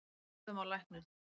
Við horfðum á lækninn.